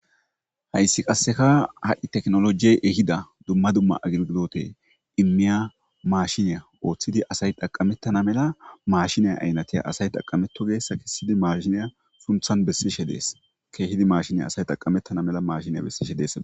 hayssi qasseka ha7i teknolojiye ehida dumma dumma agilgidote immiya maashiniya ooththidi asay taqamettana mela maashiniya aynatiya asay taqametto geessa kessidi maashiniya sunthan bessishe dees keehidi maashiniya asay taqamettana mela mashiniya bessishe deessada